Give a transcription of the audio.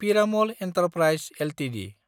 Piramal Enterprises Ltd